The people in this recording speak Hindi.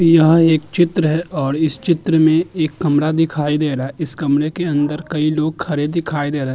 यह एक चित्र है और इस चित्र में एक कमरा दिखाई दे रहा है। इस कमरे के अंदर कई लोग खड़े दिखाई दे रहे हैं।